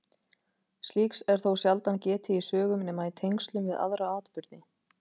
Slíks er þó sjaldan getið í sögum nema í tengslum við aðra atburði.